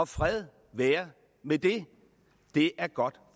fred være med det det er godt